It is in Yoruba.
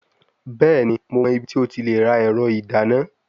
Bẹẹni, Mo mọ ibiti o ti le ra ẹrọ idana